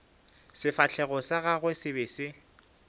sefahlego sa gagwe se be